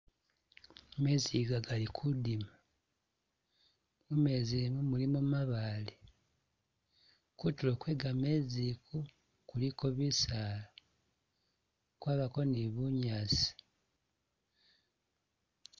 Mezi iga gali kudima, mumezi imu mulimo mabaale, kutulo kwe gamezi iku kuliko bisaala, kwabako ni bunyaasi.